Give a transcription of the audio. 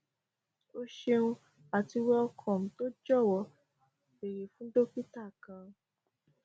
o ṣeun ati welcome to jọwọ beere fun dokita kan